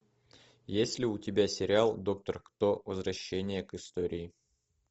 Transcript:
есть ли у тебя сериал доктор кто возвращение к истории